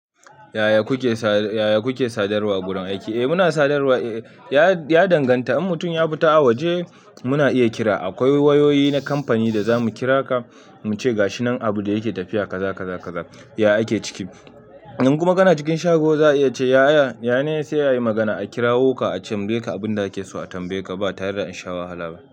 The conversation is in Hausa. "Yaya kuke sadarwa a gurin aiki?" Eh muna sadarwa, ya danganta in mutum ya fita a waje muna iya kira. Akwai wayoyi na kamfani da za mu kira ka muce gashi nan abu da yake tafiya ka za ka za. Yaya ake ciki, in kuma kana cikin shago za a iya ce, "ya'ya ya ne sai ayi magana, a kirawo ka a tambaye ka abin da ake so a tambaye ka ba tare da an sha wahala ba.